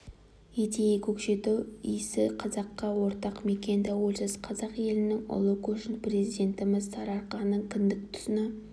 етейік көкшетау исі қазаққа ортақ мекен тәуелсіз қазақ елінің ұлы көшін президентіміз сарыарқаның кіндік тұсына